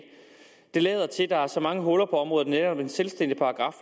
det lader til at der er så mange huller på området at netop en selvstændig paragraf